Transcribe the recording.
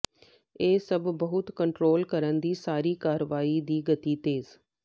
ਇਹ ਸਭ ਬਹੁਤ ਕੰਟਰੋਲ ਕਰਨ ਦੀ ਸਾਰੀ ਕਾਰਵਾਈ ਦੀ ਗਤੀ ਤੇਜ਼